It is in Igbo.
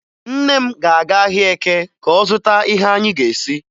Nne m na-aga ahịa Eke ka ọ zụta ihe anyị ga-esi